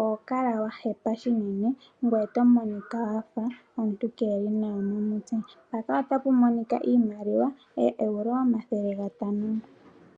oho kala wa hepa shinene ngwee to monika wafa omuntu keli nawa momutse. Mpaka otapu monika iimaliwa ooEuro omathele gatano.